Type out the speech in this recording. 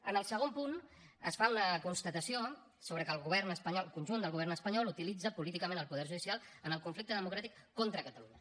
en el segon punt es fa una constatació sobre que el govern espanyol el conjunt del govern espanyol utilitza políticament el poder judicial en el conflicte democràtic contra catalunya